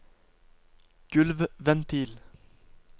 gulvventil